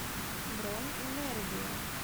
бронь энергия